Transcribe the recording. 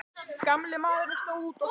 Gamli maðurinn stóð úti á hlaði.